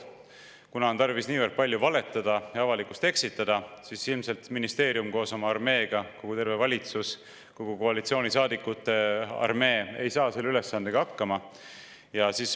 Kuna on tarvis niivõrd palju valetada ja avalikkust eksitada, siis ilmselt ministeerium koos oma armeega, terve valitsus, kogu koalitsioonisaadikute armee ei saa selle ülesandega hakkama.